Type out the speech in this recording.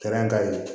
ka ɲi